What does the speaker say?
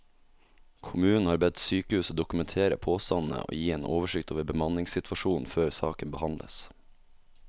Kommunen har bedt sykehuset dokumentere påstandene og gi en oversikt over bemanningssituasjonen før saken behandles.